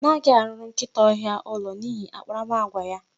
Anaghị arụrụ nkịta ọhịa ụlọ n'ihi akparamagwa ya.